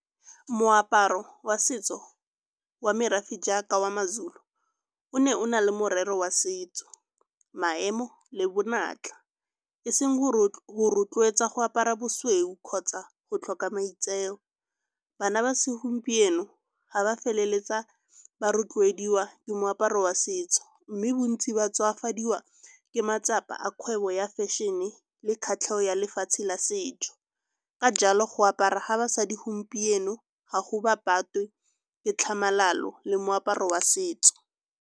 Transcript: Moaparo wa setso wa merafe jaaka wa Mazulu o ne o na le morero wa setso, maemo le bonatla, e seng go rotloetsa go apara bosweu kgotsa go tlhoka maitseo. Bana ba segompieno ga ba feleletsa ba rotloediwa ke moaparo wa setso, mme bontsi ba tswafadiwa ke matsapa a kgwebo ya fashion-e le kgatlhego ya lefatshe la setso. Ka jalo go apara ga basadi gompieno ga go ba patwe ke tlhamalalo le moaparo wa setso.